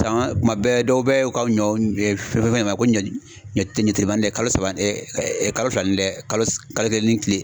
Saɲɔ tuma bɛɛ dɔw bɛ u ka ɲɔ fɛn fɛn ma ko ɲɔ telimanin dɛ kalo saba kalo fila ni dɛ kalo kelen ni